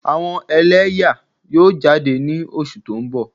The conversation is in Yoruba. Awo ẹlẹyaa yoo jade ni oṣu to n bọ.